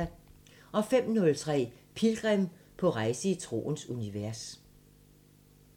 05:03: Pilgrim – på rejse i troens univers